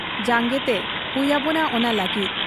ᱡᱟᱝᱜᱮᱜᱛᱮ ᱦᱩᱭ ᱟᱵᱚᱱᱟ ᱚᱱᱟ ᱞᱟᱹᱜᱤᱫ ᱾